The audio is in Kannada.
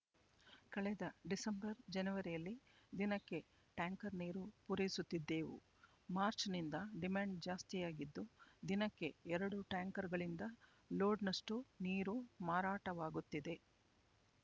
ಕಳೆದ ಡಿಸೆಂಬರ್ ಜನವರಿಯಲ್ಲಿ ದಿನಕ್ಕೆ ಟ್ಯಾಂಕರ್ ನೀರು ಪೂರೈಸುತ್ತಿದ್ದೆವು ಮಾರ್ಚ್‌ನಿಂದ ಡಿಮ್ಯಾಂಡ್ ಜಾಸ್ತಿಯಾಗಿದ್ದು ದಿನಕ್ಕೆ ಎರಡು ಟ್ಯಾಂಕರ್‌ಗಳಿಂದ ಲೋಡ್‌ನಷ್ಟು ನೀರು ಮಾರಾಟವಾಗುತ್ತಿದೆ